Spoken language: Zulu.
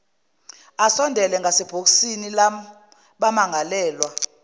asondele ngasebhokisini labamangalelwa